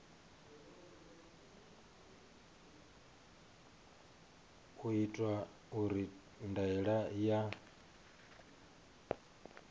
u itwa uri ndaela ya